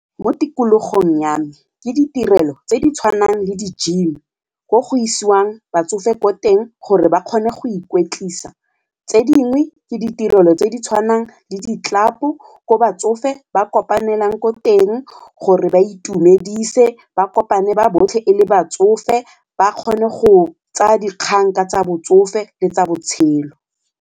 Mo tikologong ya me ke ditirelo tse di tshwanang le di-gym ko go isiwang batsofe ko teng gore ba kgone go ikwetlisa, tse dingwe ke ditirelo tse di tshwanang le di-club-o ko batsofe ba kopanelang ko teng gore ba itumedise ba kopane ba botlhe ele batsofe ba kgone go tsaya dikgang ka tsa botsofe le tsa botshelo.